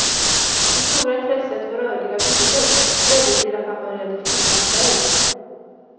Det stora intresset för rörliga bilder ledde till att han började filma själv.